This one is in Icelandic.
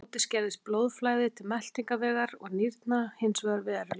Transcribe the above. Á móti skerðist blóðflæði til meltingarvegar og nýrna hins vegar verulega.